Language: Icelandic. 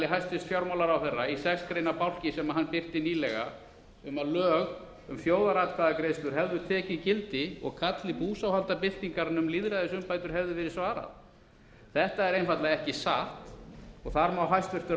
hæstvirts fjármálaráðherra í sex greina bálki sem hann birti nýlega um að lög um þjóðaratkvæðagreiðslu hefðu tekið gildi og kalli búsáhaldabyltingarinnar um lýðræðisumbætur hefði verið svarað þetta er einfaldlega ekki satt og þar má hæstvirtur